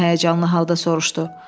Elen həyəcanlı halda soruşdu.